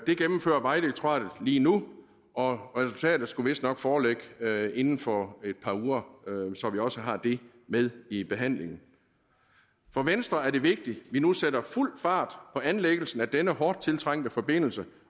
gennemfører vejdirektoratet lige nu og resultatet skulle vistnok foreligge inden for et par uger så vi også har det med i behandlingen for venstre er det vigtigt at vi nu sætter fuld fart på anlæggelsen af denne hårdt tiltrængte forbindelse